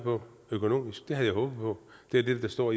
på økonomisk det havde jeg håbet på det er det der står